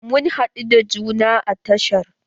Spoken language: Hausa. Mun haɗu da juna a tashar.